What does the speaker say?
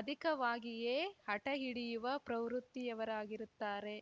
ಅಧಿಕವಾಗಿಯೇ ಹಟಹಿಡಿಯುವ ಪ್ರವೃತ್ತಿಯವರಾಗಿರುತ್ತಾರೆ